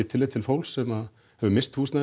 tillit til fólks sem missti húsnæði